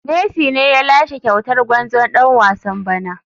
Messi ne ya lashe kyautar gwarzon dan wasan bana.